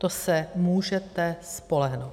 To se můžete spolehnout!